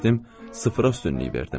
Fikirləşdim, sıfıra üstünlük verdim.